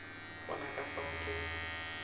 bona ka fao ke be